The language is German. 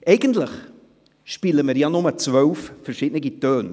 Eigentlich spielen wir ja nur zwölf verschiedene Töne.